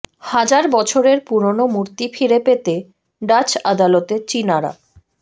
হাজার বছরের পুরনো মূর্তি ফিরে পেতে ডাচ আদালতে চীনারা